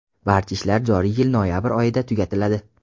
Barcha ishlar joriy yil noyabr oyida tugatiladi.